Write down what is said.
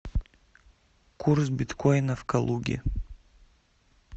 курс биткоина в калуге